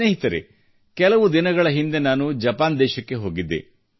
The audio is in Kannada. ಸ್ನೇಹಿತರೇ ಕೆಲವು ದಿನಗಳ ಹಿಂದೆ ನಾನು ಜಪಾನ್ ದೇಶಕ್ಕೆ ಹೋಗಿದ್ದೆ